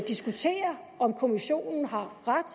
diskutere om kommissionen har ret